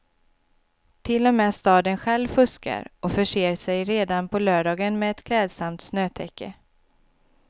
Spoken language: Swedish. Till och med staden själv fuskar, och förser sig redan på lördagen med ett klädsamt snötäcke.